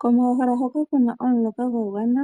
Komahala hoka kuna omuloka gwa gwana,